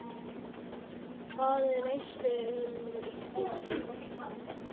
Hvað veistu um íslenska boltann?